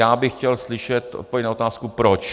Já bych chtěl slyšet odpověď na otázku proč.